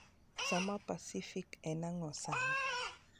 Sa ma pacific en ang'o sani